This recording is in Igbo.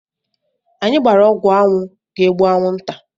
Anyị gbara ọgwụ anwụ ga egbu anwụ nta